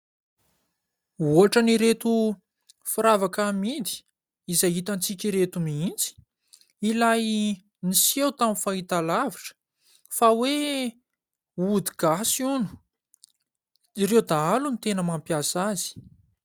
Ohatran'ireto firavaka amidy izay hitatsika ireto mihitsy ilay niseho tamin'ny fahitalavitra fa hoe ody gasy hono. Ireo dahalo ny tena mampiasa azy.